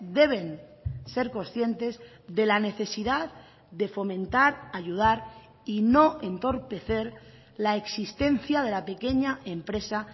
deben ser conscientes de la necesidad de fomentar ayudar y no entorpecer la existencia de la pequeña empresa